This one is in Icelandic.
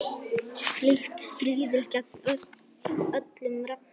Slíkt stríðir gegn öllum reglum.